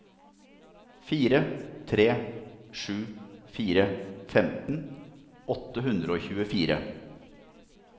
fire tre sju fire femten åtte hundre og tjuefire